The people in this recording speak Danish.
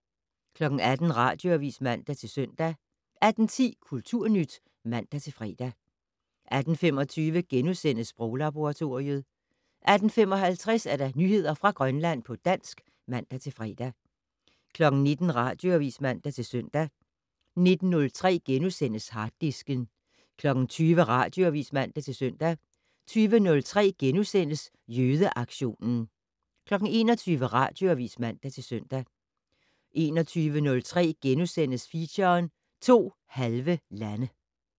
18:00: Radioavis (man-søn) 18:10: Kulturnyt (man-fre) 18:25: Sproglaboratoriet * 18:55: Nyheder fra Grønland på dansk (man-fre) 19:00: Radioavis (man-søn) 19:03: Harddisken * 20:00: Radioavis (man-søn) 20:03: Jødeaktionen * 21:00: Radioavis (man-søn) 21:03: Feature: To halve lande *